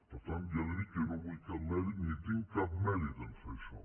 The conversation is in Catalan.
per tant ja li dic que jo no vull cap mèrit ni tinc cap mèrit en fer això